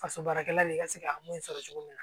Faso baarakɛla de ka se ka mun sɔrɔ cogo min na